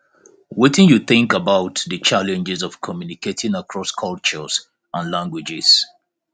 wetin you think about di challenges of communicating across cultures and languages